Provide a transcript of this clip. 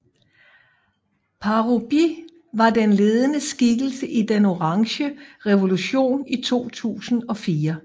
Parubíj var en ledende skikkelse i Den orange revolution i 2004